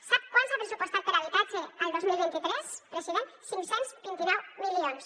sap quant s’ha pressupostat per a habitatge el dos mil vint tres president cinc cents i vint nou milions